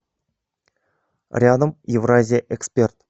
рядом евразия эксперт